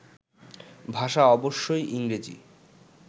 ভাষা অবশ্যই ইংরেজি